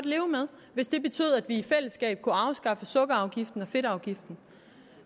leve med hvis det betød at vi i fællesskab kunne afskaffe sukkerafgiften og fedtafgiften